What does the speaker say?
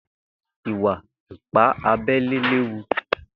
Ìwà ìpá àbẹlé léwú